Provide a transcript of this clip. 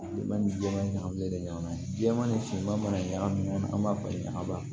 Bi ma ni jɛman ni ɲagami de ɲɔgɔn na ye jɛman ni finma mana ɲagami ɲɔgɔn na an b'a falen ɲaga la